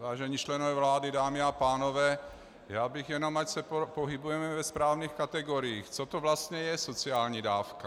Vážení členové vlády, dámy a pánové, já bych jenom, ať se pohybujeme ve správných kategoriích, co to vlastně je sociální dávka.